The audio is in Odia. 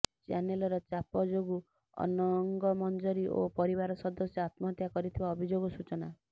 ଚ୍ୟାନେଲର ଚାପ ଯୋଗୁଁ ଅନଙ୍ଗମଞ୍ଜରୀ ଓ ପରିବାର ସଦସ୍ୟ ଆତ୍ମହତ୍ୟା କରିଥିବା ଅଭିଯୋଗ ସୂଚନା